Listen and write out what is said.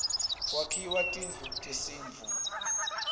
kwakhiwa tindlu tesintfu